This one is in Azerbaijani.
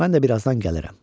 Mən də bir azdan gəlirəm.